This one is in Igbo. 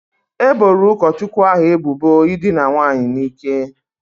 E boro ụkọchukwu ahu ebubo ịdịna nwaanyị n'ike